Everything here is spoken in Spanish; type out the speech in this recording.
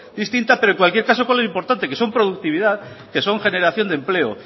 distintas pero en cualquier caso que es lo importante que son productividad que son generación de empleo